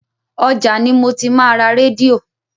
Ọjà ni mo ti máa ra rédíò.